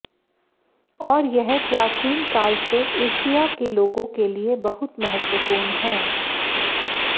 और यह प्राचीन काल से एशिया के लोगों के लिए बहुत महत्वपूर्ण है